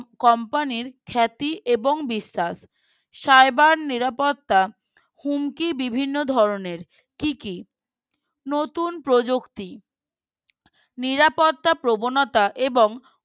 company র খ্যাতি এবং বিস্তার Cyber নিরাপত্তা হুমকি বিভিন্ন ধরনের কি কি নতুন প্রযুক্তি নিরাপত্তা প্রবণতা এবং